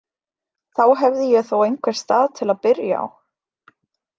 Þá hefði ég þó einhvern stað til að byrja á.